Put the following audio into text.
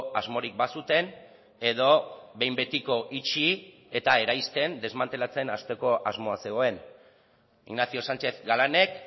asmorik bazuten edo behin betiko itxi eta eraisten desmantelatzen hasteko asmoa zegoen ignacio sánchez galanek